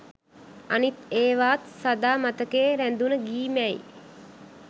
අනිත් ඒවත් සදා මතකයේ රැඳුන ගී මැයි